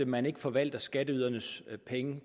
man ikke forvalter skatteydernes penge